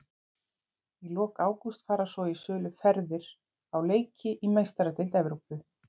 Í lok ágúst fara svo í sölu ferðir á leiki í Meistaradeild Evrópu.